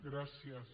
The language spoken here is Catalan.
gràcies